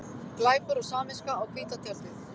Glæpur og samviska á hvíta tjaldið